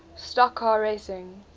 stock car racing